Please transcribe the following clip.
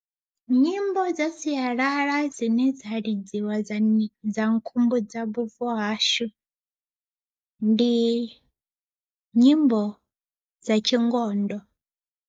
Nyimbo dza sialala dzine dza lidziwa dza khumbudza vhubvo hashu ndi nyimbo dza tshingondo.